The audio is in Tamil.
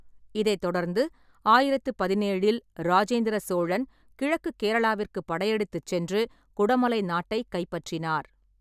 இதைத் தொடர்ந்து ஆயிரத்து பதினேழில் ராஜேந்திர சோழன் கிழக்குக் கேரளாவிற்கு படையெடுத்துச் சென்று குடமலை நாட்டைக் கைப்பற்றினார்.